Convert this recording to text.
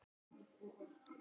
Þau slitu síðar sambúð.